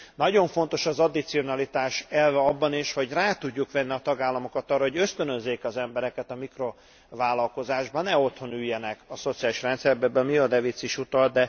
Nagyon fontos az addicionalitás elve abban is, hogy rá tudjuk venni a tagállamokat arra, hogy ösztönözzék az embereket a mikrovállalkozásra, ne otthon üljenek a szociális rendszerben, amire Mia De Vits is utalt.